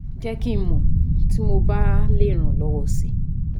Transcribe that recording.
Jẹ́ kí n mọ̀ tí mo bá lè ràn ọ́ lọ́wọ́ si